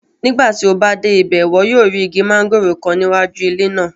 Nigbati o ba de ibẹ, iwọ yoo ri igi mangoro kan ni iwaju ile naa